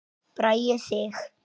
Bragi Sig.